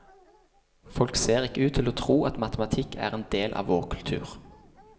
Folk ser ikke ut til å tro at matematikk er en del av vår kultur.